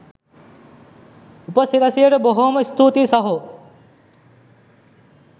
උපසිරැසියට බොහොම ස්තූතියි සහෝ